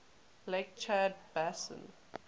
lake chad basin